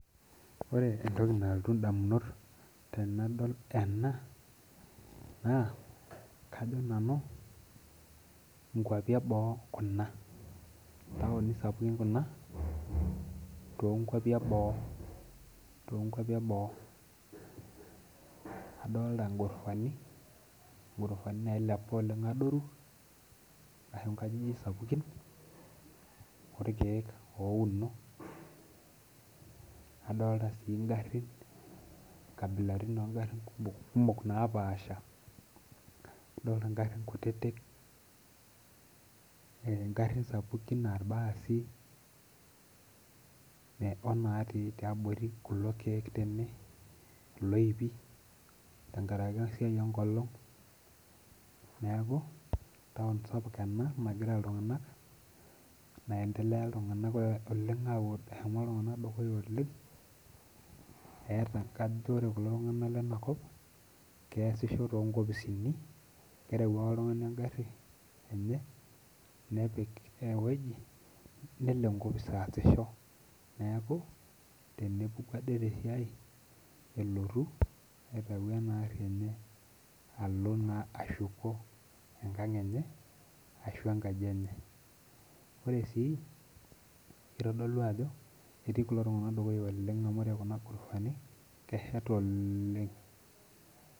Ore entoki naltu indamunot tenadol ena naa kajo nanu inkuapi eboo kuna intaoni sapuki kuna tonkuapi eboo tonkuapi eboo adolta inghurufani, inghurofani nailepa oleng adoru ashu inkajijik sapukin orkeek ouno adolta sii ingarrin inkabilarin ongarrin kumok napaasha adolta ingarrin kutitik eh ingarrin sapukin aa irbaasi eh onatii tiabori kulo keek tene iloipi tenkarake esiai enkolong neeku taon sapuk ena nagira iltung'anak naendeleya iltung'anak oleng aaku eshomo iltung'anak dukuya oleng eeta kajo ore kulo tung'anak lenakop keesisho tonkopisini kereu ake oltung'ani engarri enye nepik ewoji nelo enkopis aasisho neeku tenepuku ade tesiai elotu aitau ena arri enye alo naa ashuko enkang enye ashu enkaji enye ore sii itodolu ajo etii kulo tung'anak dukuya oleng amu ore kuna gurufani kesheta ooleng.